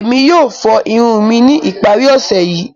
Emi yoo fo irun mi ni ipari ọse yii.